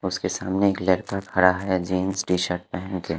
उसके सामने एक लड़का खड़ा हैं जीन्स टी_शर्ट पहन के--